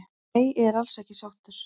Nei ég er alls ekki sáttur